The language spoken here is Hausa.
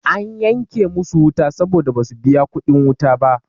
Ana yanke musu wuta saboda basu biya kuɗin wuta ba.